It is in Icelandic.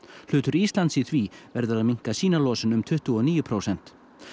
hlutur Íslands í því verður að minnka sína losun um tuttugu og níu prósent